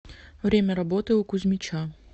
время работы у кузьмича